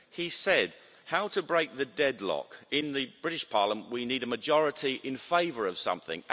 He said, how to break the deadlock in the British parliament we need a majority in favour of something.